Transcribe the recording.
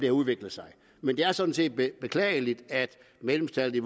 har udviklet sig men det er sådan set beklageligt at medlemstallet i